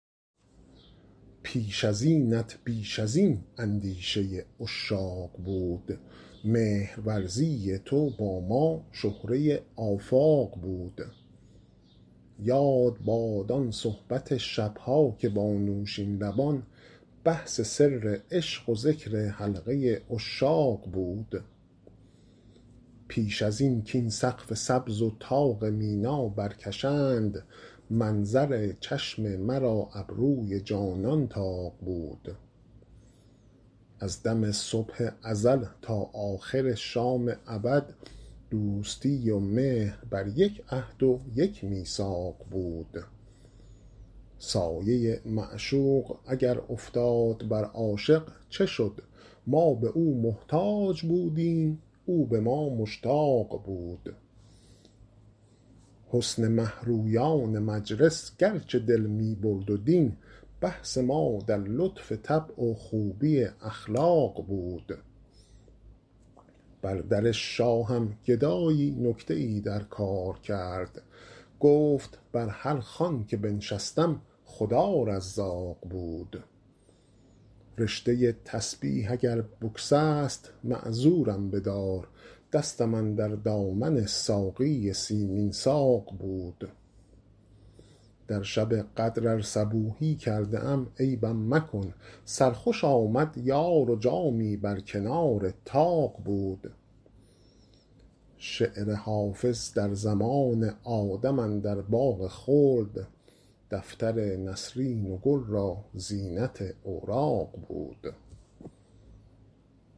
پیش از اینت بیش از این اندیشه عشاق بود مهرورزی تو با ما شهره آفاق بود یاد باد آن صحبت شب ها که با نوشین لبان بحث سر عشق و ذکر حلقه عشاق بود پیش از این کاین سقف سبز و طاق مینا برکشند منظر چشم مرا ابروی جانان طاق بود از دم صبح ازل تا آخر شام ابد دوستی و مهر بر یک عهد و یک میثاق بود سایه معشوق اگر افتاد بر عاشق چه شد ما به او محتاج بودیم او به ما مشتاق بود حسن مه رویان مجلس گرچه دل می برد و دین بحث ما در لطف طبع و خوبی اخلاق بود بر در شاهم گدایی نکته ای در کار کرد گفت بر هر خوان که بنشستم خدا رزاق بود رشته تسبیح اگر بگسست معذورم بدار دستم اندر دامن ساقی سیمین ساق بود در شب قدر ار صبوحی کرده ام عیبم مکن سرخوش آمد یار و جامی بر کنار طاق بود شعر حافظ در زمان آدم اندر باغ خلد دفتر نسرین و گل را زینت اوراق بود